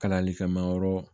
Kalanlifɛn ma yɔrɔ